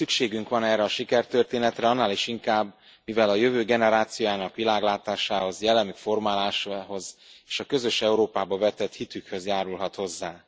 Szükségünk van erre a sikertörténetre, annál is inkább, mivel a jövő generációjának világlátásához, jellemük formálásához és a közös Európába vetett hitükhöz járulhat hozzá.